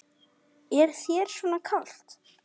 Er þér svona kalt?